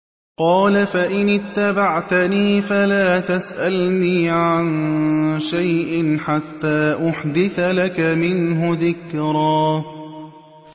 قَالَ فَإِنِ اتَّبَعْتَنِي فَلَا تَسْأَلْنِي عَن شَيْءٍ حَتَّىٰ أُحْدِثَ لَكَ مِنْهُ ذِكْرًا